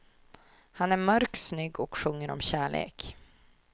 Han är mörk, snygg och sjunger om kärlek.